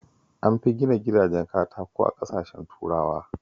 An fi gina gidajen katako a ƙasashen turawa